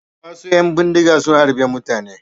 Wasu ƴan bindiga sun harbe mutane.